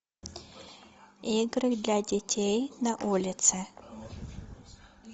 игры для детей на улице